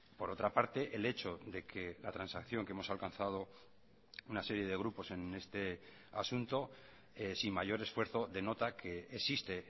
por otra parte el hecho de que la transacción que hemos alcanzado una serie de grupos en este asunto sin mayor esfuerzo denota que existe